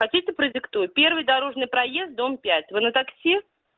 хотите продиктую первый дорожный проезд дом пять вы на такси